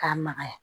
K'a magaya